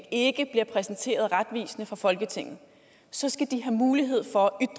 ikke bliver præsenteret retvisende for folketinget så skal de have mulighed for